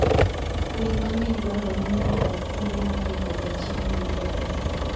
Winy mang'eny dwarore ni odag kuonde ma pi koda chiemo yudoree.